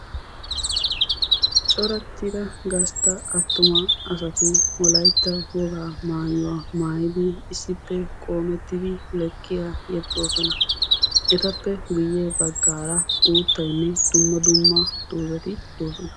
Corattida gastta attuma asati wolaytta wogaa maayuwa maayidi issippe qoomettidi lekkiya yexxoosona. Etappe guyye baggaara uuttaynne dumma dumma doozati doosona.